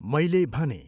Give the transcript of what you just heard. मैले भनेँ।